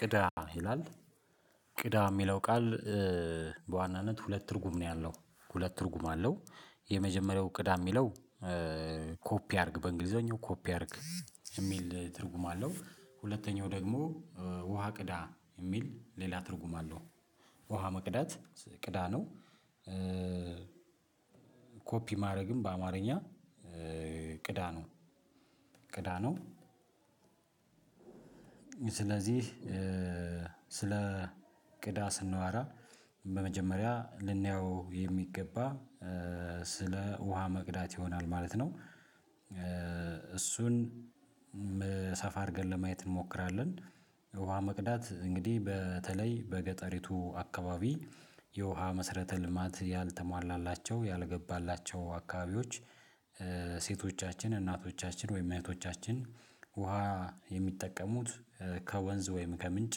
ቅዳ ይላል ቅዳ የሚለው ቃል በዋናነት ሁለት ትርጉም ነው ያለው ሁለት ትርጉም አለው። የመጀመሪያው ቅዳ ሚለው። ኮፒ አድርግ በእንግሊዘኛው ኮፒ አድርግ የሚል ትርጉም አለው። ሁለተኛው ደግሞ ውሃ ቅዳ የሚል ሌላ ትርጉም አለው። ውሃ መቅዳት ቅዳ ነው። ኮፒ ማድረግም በአማርኛ ቅዳ ነው ቅዳ ነው። ስለዚህ ስለ ቅዳ ስንዋራ በመጀመሪያ ልንየው የሚገባ ስለ ውሃ መቅዳት ይሆናል ማለት ነው። እሱን ሰፋ አድርገን ለማየት እንሞክራለን። ውሃ መቅዳት እንግዲህ በተለይ በገጠሪቱ አካባቢ የውሃ መስረተ ልማት ያልተሟላላቸው ያልገባላቸው አካባቢዎች። ሴቶቻችን እናቶቻችን ወይም እህቶቻችን ውሃ የሚጠቀሙት ከወንዝ ወይም ከምንጭ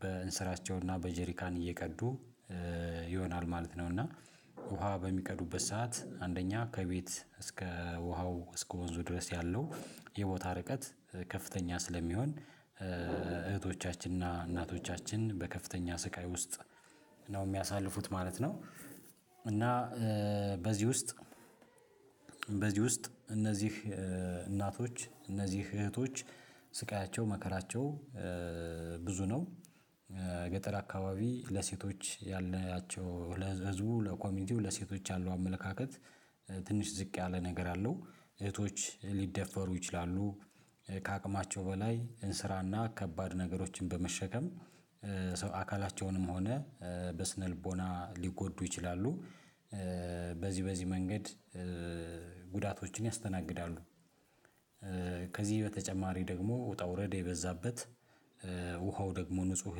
በእንስራቸውና በጄሪካን እየቀዱ ይሆናል ማለት ነው። እና ውሃ በሚቀዱበት ሰዓት አንደኛ ከቤት እስከ ውሃው እስከ ወንዙ ድረስ ያለው የቦታ ርቀት። ከፍተኛ ስለሚሆን እህቶቻችንና እናቶቻችን በከፍተኛ ስቃይ ውስጥ ነው የሚያሳልፉት ማለት ነው። እና በዚህ ውስጥ በዚህ ውስጥ እነዚህ እናቶች እነዚህ እህቶች ስቃያቸው መከራቸው ብዙ ነው። ገጠር አካባቢ ለሴቶች ያለአቸው ለህዝቡ ለኮሚኒቲው ለሴቶች ያለው አመለካከት ትንሽ ዝቅ ያለ ነገር አለው። እህቶች ሊደፈሩ ይችላሉ። ከአቅማቸው በላይ እንስራና ከባድ ነገሮችን በመሸከም ሰው አካላቸውንም ሆነ በስነልቦና ሊጎዱ ይችላሉ። በዚህ በዚህ መንገድ ጉዳቶችን ያስተናግዳሉ። ከዚህ በተጨማሪ ደግሞ ውጣ ውረድ የበዛበት ውሃው ደግሞ ንጹህ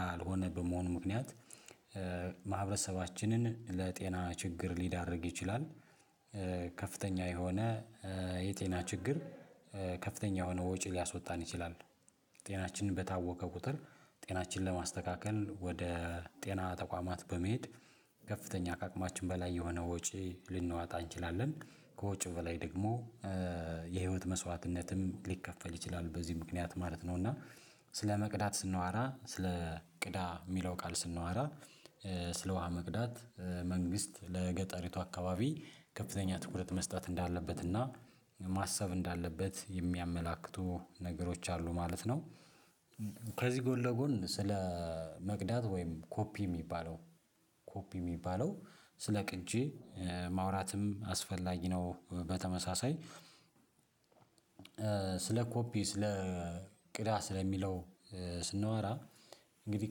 ያልሆነ በመሆኑ ምክንያት ማህበረሰባችንን ለጤና ችግር ሊዳርግ ይችላል። ከፍተኛ የሆነ የጤና ችግር ከፍተኛ የሆነ ወጪ ሊያስወጣን ይችላል። ጤናችንን በታወከ ቁጥር ጤናችንን ለማስተካከል ወደ ጤና ተቋማት በመሄድ ከፍተኛ ከአቅማችን በላይ የሆነ ወጪ ልንዋጣ እንችላለን። ከወጪው በላይ ደግሞ የህይወት መስዋዕትነትም ሊከፈል ይችላል በዚህ ምክንያት ማለት ነው። እና ስለመቅዳት ስንዋራ ስለ ቅዳ የሚለው ቃል ስንዋራ ስለ ውሃ መቅዳት መንግስት ለገጠሪቱ አካባቢ ከፍተኛ ትኩረት መስጠት እንዳለበት እና ማሰብ እንዳለበት የሚያመላክቱ ነገሮች አሉ ማለት ነው። ከዚህ ጎን ለጎን ስለ መቅዳት ወይም ኮፒ የሚባለው ኮፒ የሚባለው ስለ ቅጂ ማውራትም አስፈላጊ ነው። በተመሳሳይ ስለ ኮፒ ስለ ቅዳ ስለሚለው ስንወራ እንግዲህ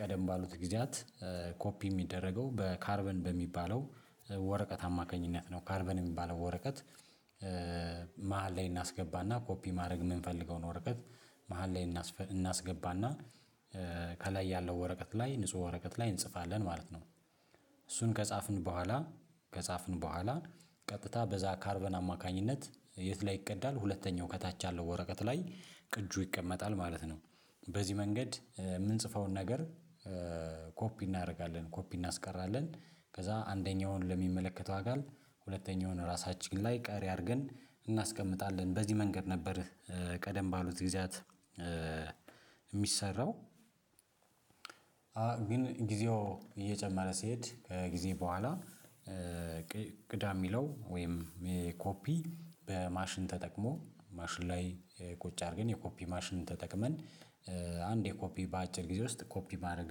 ቀደም ባሉት ጊዜያት ኮፒ የሚደረገው በ ካርበን በሚባለው ወረቀት አማካኝነት ነው። ካርበን የሚባለው ወረቀት መሃል ላይ እናስገባና ኮፒ ማድረግ የምንፈልገውን ወረቀት መሃል ላይ እናስገባና ከላይ ያለው ወረቀት ላይ ንጹህ ወረቀት ላይ እንጽፋለን ማለት ነው። እሱን ከጻፍን በኋላ ከጻፍን በኋላ ቀጥታ በዛ ካርበን አማካኝነት የት ላይ ይቀዳል ሁለተኛው ከታች ያለው ወረቀት ላይ ቅጁ ይቀመጣል ማለት ነው። በዚህ መንገድ የምንጽፈውን ነገር ኮፒ እናደርጋለን ኮፒ እናስቀራለን ከዛ አንደኛውን ለሚመለከተው አካል ሁለተኛውን ራሳችን ላይ ቀሪ አድርገን እናስቀምጣለን በዚህ መንገድ ነበር። ቀደም ባሉት ጊዜያት የሚሰራው። ግን ጊዜው እየጨመረ ሲሄድ ከጊዜ በኋላ ቅዳ የሚለው ወይም ኮፒ በማሽን ተጠቅሞ ማሽን ላይ ቁጭ አድርገን የኮፒ ማሽንን ተጠቅመን አንዴ የኮፒ በአጭር ጊዜ ውስጥ ኮፒ ማድረግ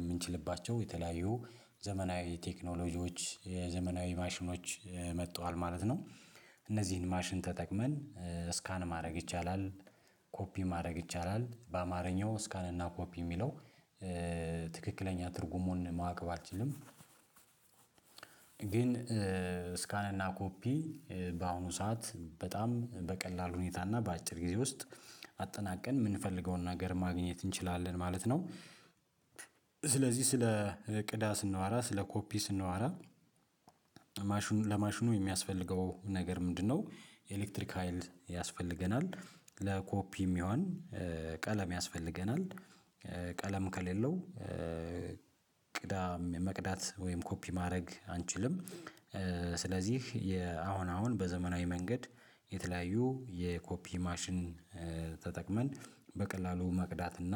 የምንችልባቸው የተለያዩ ዘመናዊ ቴክኖሎጂዎች የዘመናዊ ማሽኖች መጥተዋል ማለት ነው። እነዚህን ማሽን ተጠቅመን ስካን ማድረግ ይቻላል። ኮፒ ማድረግ ይቻላል በአማርኛው ስካን እና ኮፒ የሚለው ትክክለኛ ትርጉሙን ማወቅ ባልችልም ግን ስካን እና ኮፒ በአሁኑ ሰዓት በጣም በቀላል ሁኔታ እና በአጭር ጊዜ ውስጥ አጠናቀን የምንፈልገውን ነገር ማግኘት እንችላለን ማለት ነው። ስለዚህ ስለ ቅዳ ስናወራ ስለ ኮፒ ስናወራ ማሽኑ ለማሽኑ የሚያስፈልገው ነገር ምንድነው? ኤሌክትሪክ ሀይል ያስፈልገናል። ለኮፒ የሚሆን ቀለም ያስፈልገናል። ቀለም ከሌለው ቅዳም መቅዳት ወይም ኮፒ ማድረግ አንችልም። ስለዚህ የአሁን አሁን በዘመናዊ መንገድ የተለያዩ የኮፒ ማሽን ተጠቅመን በቀላሉ መቅዳት እና